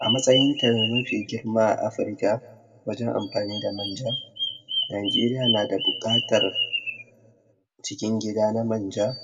a matsayin ta na mafi girma a africa wajen amfani da manja najeriya nada buƘatar cikin gida na manja